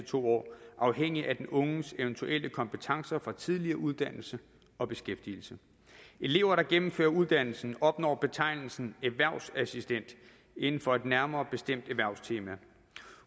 to år afhængigt af den unges eventuelle kompetencer fra tidligere uddannelse og beskæftigelse elever der gennemfører uddannelsen opnår betegnelsen erhvervsassistent inden for et nærmere bestemt erhvervstema